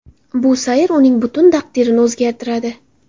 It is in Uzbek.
Bu sayr uning butun taqdirini o‘zgartiradi.